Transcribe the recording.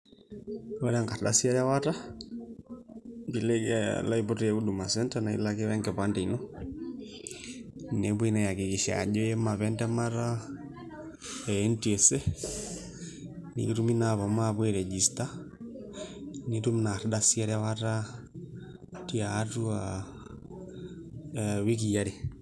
Ore enkardasi erewata pee ilo aiput te Huduma Centre naa ilo ake o enkipande ino nepuoi naa aiakikisha ajo iima apa entemata e NTSA nikitumi naa ashom airejista nitum ina ardasi erewata tiatua ee wiki are.